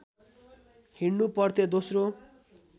हिँडनु पर्थ्यो दोस्रो